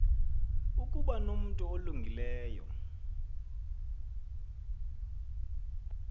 ukuba nomntu olungileyo